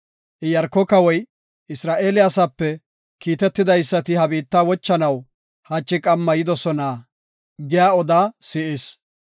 Iyaarko kawoy, “Isra7eele asape kiitetidaysati ha biitta wochanaw hachi qamma yidosona” giya odaa si7is.